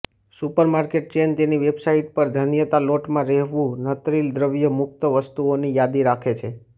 supermarket chain તેની website પર ધાન્યના લોટમાં રહેલું નત્રિલ દ્રવ્ય મુક્ત વસ્તુઓની યાદી રાખે છે